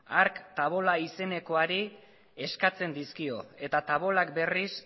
hark tavola izenekoari eskatzen dizkio eta tavolak berriz